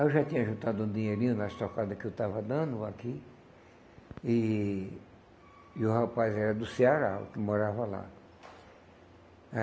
Aí eu já tinha juntado um dinheirinho nas tocada que eu estava dando aqui, e e o rapaz era do Ceará, o que morava lá.